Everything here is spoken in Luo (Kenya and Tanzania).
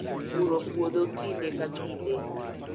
Puro puodho kinde ka kinde